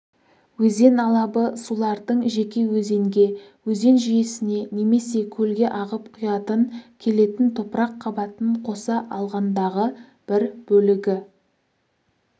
өзен алабы сулардың жеке өзенге өзен жүйесіне немесе көлге ағып құятын келетін топырақ қабатын қоса алғандағы бір бөлігі